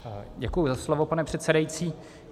Děkuji za slovo, pane předsedající.